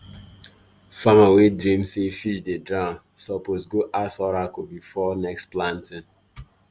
farmer wey dream say fish dey drown suppose go ask oracle before next planting.